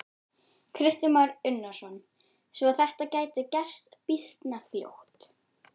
Kristján Már Unnarsson: Svo þetta gæti gerst býsna fljótt?